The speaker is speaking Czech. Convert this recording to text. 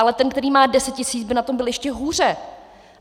Ale ten, který má 10 000, by na tom byl ještě hůře.